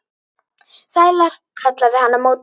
Sælar, kallaði hann á móti.